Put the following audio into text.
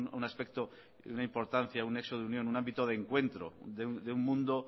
un aspecto una importancia un nexo de unión un ámbito de encuentro de un mundo